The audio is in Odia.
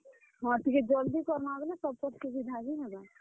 ହଁ, ଟିକେ ଜଲ୍ ଦି କର୍ ମା ବେଲେ ସମଙ୍କର ସୁବିଧା ବି ହେବା।